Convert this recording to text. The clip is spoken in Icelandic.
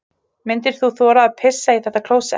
Myndir þú þora að pissa í þetta klósett?